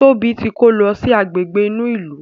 Tóbi tí kò ló sì Àgbègbè inú ilu.